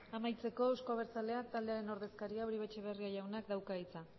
amaitzeko euzko abertzaleak taldearen ordezkariak uribe etxebarria jaunak dauka hitza